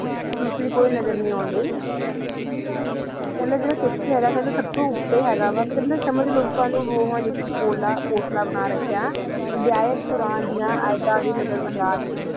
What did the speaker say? ਦੋਸਾਰੀ ਕੋਈ ਨੰਦ ਨਹੀ ਨਜ਼ਰ ਨਹੀ ਓਨ੍ਦੀ ਸੁਬ ਤੋ ਓਟਾ ਆਂਡਿ ਆ ਸਮਾਜ ਲੋ ਕਾ ਲੋਕਾ ਨਾ ਗੁਣਵਾ ਦਾ ਪੋਟਲਾ ਬਣਾ ਰਾਖਾ ਆ ਆਯਾਤ ਯਾ ਆਯਾਤ ਕੁਰਾਨ ਦਯਾ ਨਜ਼ਰ ਅੰਦਾਜ਼ ਕਰ ਲ੍ਯ ਨਾ